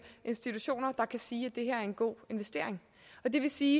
institutioner der kan sige at det her er en god investering og det vil sige